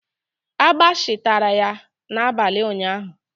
Agbashi tara ya n'abalị ụnyaahụ.